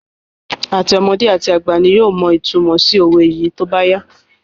Àti ọmọdé àti àgbà ni yóò mọ ìtunmọ̀ sí òwe sí í tóbá yá